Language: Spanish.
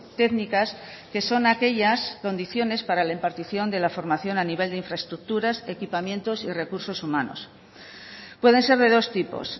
técnicas que son aquellas condiciones para la impartición de la formación a nivel de infraestructuras equipamientos y recursos humanos pueden ser de dos tipos